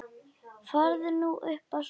Farðu nú upp að sofa.